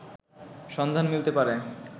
সন্ধান মিলতে পারে